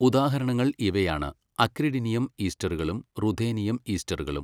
ഉദാഹരണങ്ങൾ ഇവയാണ് അക്രിഡിനിയം ഈസ്റ്ററുകളും റുഥേനിയം ഈസ്റ്ററുകളും.